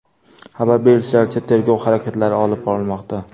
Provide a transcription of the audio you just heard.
Xabar berishlaricha, tergov harakatlari olib borilmoqda.